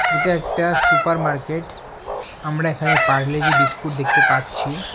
এটা একটা supermarket আমরা এখানে পারলে জি বিস্কুট দেখতে পাচ্ছি।